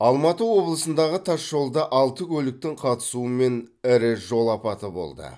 алматы облысындағы тас жолда алты көліктің қатысуымен ірі жол апаты болды